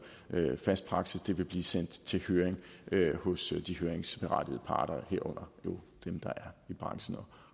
fast praksis det vil blive sendt til høring hos de høringsberettigede parter herunder jo dem der er i branchen og